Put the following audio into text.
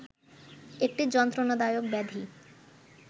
একটি যন্ত্রণাদায়ক ব্যাধি